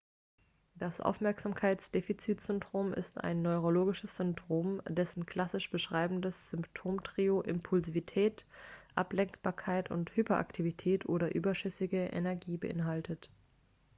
das aufmerksamkeitsdefizitsyndrom ist ein neurologisches syndrom dessen klassisch beschreibendes symptomtrio impulsivität ablenkbarkeit und hyperaktivität oder überschüssige energie beinhaltet